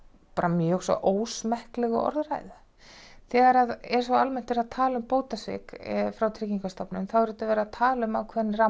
mjög svo ósmekklegu orðræðu þegar er svo almennt verið að tala um bótasvik hjá Tryggingastofnun þá er auðvitað verið að tala um ákveðinn ramma